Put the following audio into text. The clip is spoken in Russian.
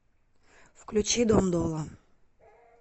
включи дом долла